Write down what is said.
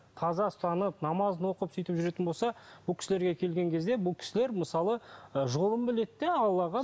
таза ұстанып намазын оқып сөйтіп жүретін болса бұл кісілерге келген кезде бұл кісілер мысалы ы жолын біледі де аллаға